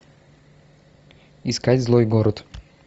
искать злой город